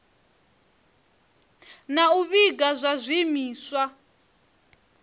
na u vhiga zwa zwiimiswa